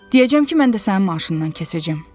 Deyəcəm ki, mən də sənin maaşından kəsəcəm.